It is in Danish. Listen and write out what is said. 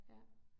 Ja